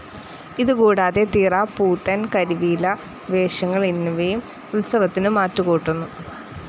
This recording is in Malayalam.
ഇതുകൂടാതെ തിറ, പൂതൻ, കരിവീല വേഷങ്ങൾ എന്നിവയും ഉത്സവത്തിന് മാറ്റുകൂട്ടുന്നു.